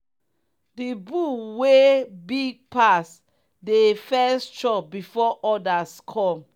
the bull wey big pas dey first chop before others come.